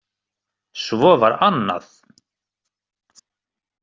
Svo var annað.